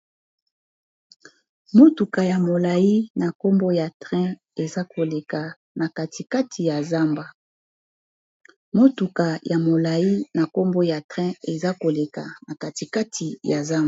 motuka ya molai na nkombo ya train eza koleka na katikati ya zamba